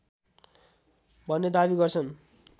भन्ने दावी गर्छन्